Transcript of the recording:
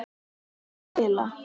Hvernig á spila?